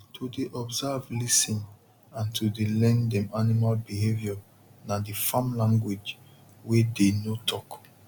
to dey observe lis ten and to dey learn dem animal behaviour na the farm language wey dey no talk